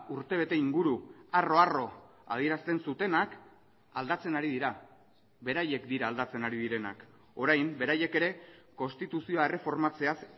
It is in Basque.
urtebete inguru harro harro adierazten zutenak aldatzen ari dira beraiek dira aldatzen ari direnak orain beraiek ere konstituzioa erreformatzeaz